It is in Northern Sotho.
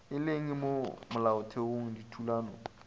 e leng mo molaotheong dithulano